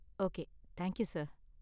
okay, thank you sir